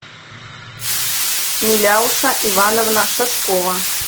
миляуша ивановна шашкова